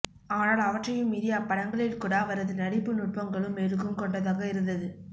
ஆனால் அவற்றையும் மீறி அப்படங்களில்கூட அவரது நடிப்பு நுட்பங்களும் மெருகும் கொண்டதாக இருந்தது